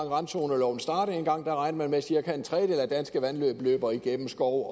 randzoneloven dengang regnede man med at cirka en tredjedel af danske vandløb løber igennem skov